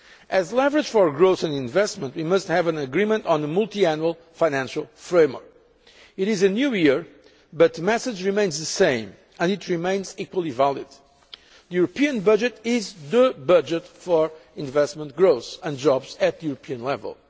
As leverage for growth and investment, we must have an agreement on the multiannual financial framework. It is a new year but the message remains the same, and it remains equally valid the European budget is the budget for investment growth and jobs at the European